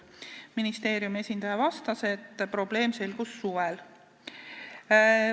Ministeeriumi esindaja vastas, et probleem selgus suvel.